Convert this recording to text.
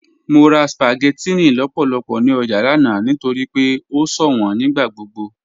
Mọ rà spaghettinni lọ́pọ̀lọ́pọ̀ ní ọjà lánà nítorí pé o ṣọwọn nígbàgbogbo.